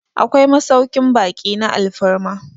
akwai masaukin baki na alfarma